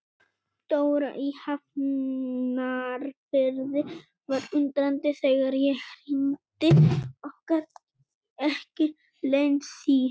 Dóra í Hafnarfirði var undrandi þegar ég hringdi og gat ekki leynt því.